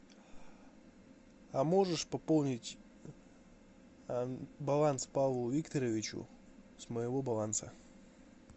а можешь пополнить баланс павлу викторовичу с моего баланса